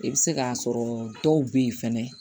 I bɛ se k'a sɔrɔ dɔw bɛ yen fɛnɛ